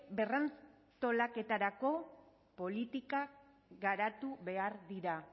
berrantolaketarako politikak garatu behar dira